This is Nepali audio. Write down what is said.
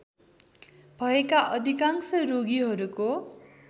भएका अधिकांश रोगीहरूको